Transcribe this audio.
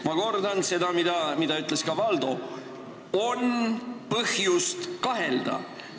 Ma kordan seda, mida ütles ka Valdo: on põhjust kahelda.